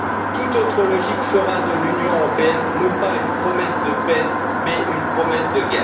Toute autre logique fera de l'Union européenne non pas une promesse de paix mais une promesse de